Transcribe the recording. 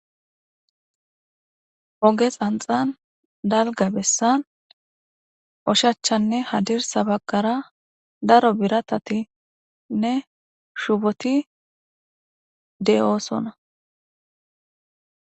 Oge xanxan dalga bessan oshachanne hadir sabakara daro biratatinne shupoti de'oosona.